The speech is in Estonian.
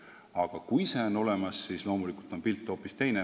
Aga kui see on olemas, siis loomulikult on asjade seis hoopis teine.